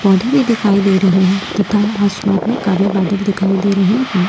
पौधे भी दिखाई दे रहे हैं तथा आसमान में काले बादल दिखाई दे रहे हैं।